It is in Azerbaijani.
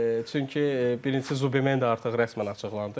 Çünki birincisi Zupamen də artıq rəsmən açıqlandı.